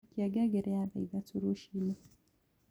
Akĩa ngengere ya thaa ĩthatũ rũcĩĩnĩ